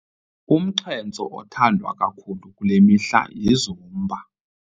Umxhentso othandwa kakhulu kule mihla yiZumba.